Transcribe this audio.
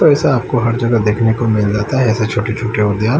ऐसा आपको हर जगह देखने को मिल जाता है ऐसे छोटे छोटे उद्यान--